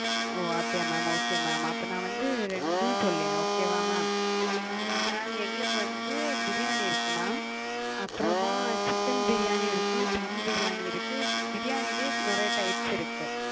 ஒ அப்டியா mam okay mam அப்ப நா வந்து ரெண்டும் சொல்லேன். okay வா mam, mam எங்களுக்கு வந்து பிரியாணி இருக்கு mam அப்பறமா chicken பிரியாணி இருக்கு, தம் பிரியாணி இருக்கு. பிரியாணிலையே நெறய types இருக்கு.